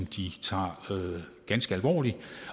de tager ganske alvorligt